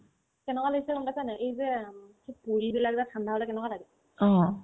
কেনেকুৱা লাগিছে গম পাইছানে নাই এই যে উম কি পূৰীবিলাক ঠাণ্ডা হ'লে কেনেকুৱা লাগে